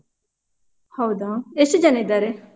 ಹೌದಾ? ಎಷ್ಟು ಜನ ಇದ್ದಾರೆ?